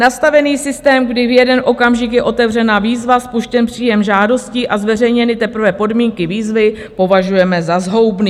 Nastavený systém, kdy v jeden okamžik je otevřena výzva, spuštěn příjem žádostí a zveřejněny teprve podmínky výzvy, považujeme za zhoubný.